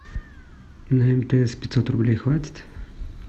на мтс пятьсот рублей хватит